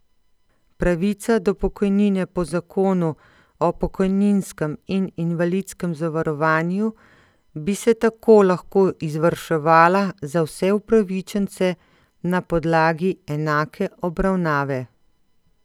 Pravica do pokojnine po zakonu o pokojninskem in invalidskem zavarovanju bi se tako lahko izvrševala za vse upravičence na podlagi enake obravnave.